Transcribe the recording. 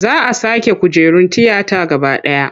Za a sake kujerun tiyata gaba ɗaya.